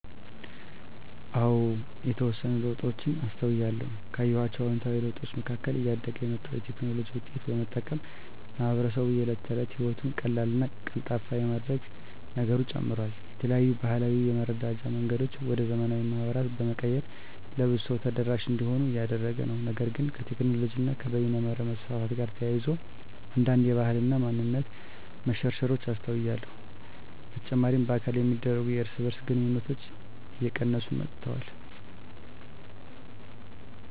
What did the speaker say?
አዎ የተወሰኑ ለውጦችን አስተውያለሁ። ካየኋቸው አዉንታዊ ለውጦች መካከል እያደገ የመጣውን የቴክኖሎጂ ዉጤቶች በመጠቀም ማህበረሰቡ የእለት ተለት ህይወቱን ቀላልና ቀልጣፋ የማድረግ ነገሩ ጨምሯል። የተለያዩ ባህላዊ የመረዳጃ መንገዶችን ወደ ዘመናዊ ማህበራት በመቀየር ለብዙ ሰው ተደራሽ እንዲሆኑ እያደረገ ነው። ነገር ግን ከቴክኖሎጂ እና በይነመረብ መስፋፋት ጋር ተያይዞ አንዳንድ የባህል እና ማንነት መሸርሸሮች አስተውያለሁ። በተጨማሪ በአካል የሚደረጉ የእርስ በእርስ ግንኙነቶች እየቀነሱ መጥተዋል።